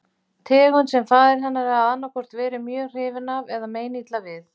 Tegund sem faðir hennar hafði annaðhvort verið mjög hrifinn af eða meinilla við.